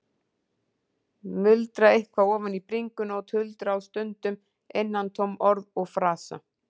Muldra eitthvað ofan í bringuna og tuldra á stundum innantóm orð og frasa.